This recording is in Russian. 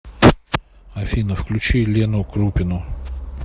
афина включи лену крупину